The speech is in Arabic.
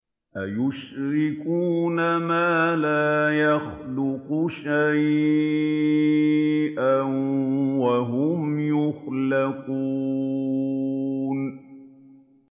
أَيُشْرِكُونَ مَا لَا يَخْلُقُ شَيْئًا وَهُمْ يُخْلَقُونَ